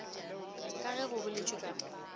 ka ge go boletšwe ka